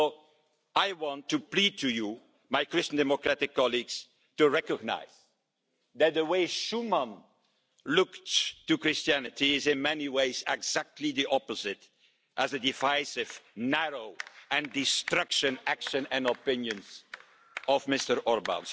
So I want to plead to you, my Christian Democratic colleagues, to recognise that the way Schuman looked at Christianity is in many ways exactly the opposite to the divisive, narrow and destructive actions and opinions of Mr Orbán.